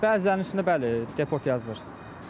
Bəzilərinin üstünə bəli, deport yazılır.